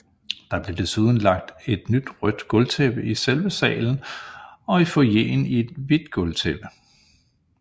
Der blev desuden lagt et nyt rødt gulvtæppe i selve salen og i foyeren et hvidt gulvtæppe